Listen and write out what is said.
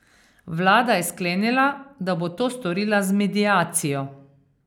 Vlada je sklenila, da bo to storila z mediacijo.